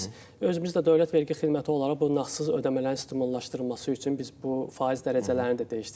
Yəni biz özümüz də dövlət vergi xidməti olaraq bu nağdsız ödəmələrin stimullaşdırılması üçün biz bu faiz dərəcələrini də dəyişdirmişik.